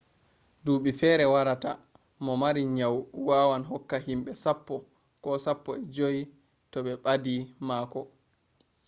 duɓi fere warata mo mari nyau wawan hokka himɓe sappo ko sappo e joyi to ɓe ɓadi mako